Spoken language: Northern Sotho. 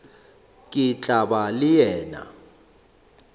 ke tla ba le wena